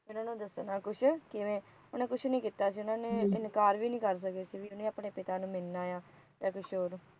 ਉਹਨਾ ਨੂੰ ਦੱਸਣਾ ਕੁਛ ਕਿਵੇ ਉਹਨਾ ਕੁਛ ਨਹੀ ਕੀਤਾ ਸੀ ਉਹਨਾ ਨੇ ਇਨਕਾਰ ਵੀ ਨਹੀ ਕਰ ਸਕੇ ਉਹਨੇ ਆਪਣੇ ਪਿਤਾ ਨੂੰ ਮਿਲਣਾ ਆ ਜਾ ਕੁਛ ਹੋਰ